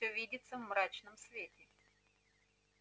все видится в мрачном свете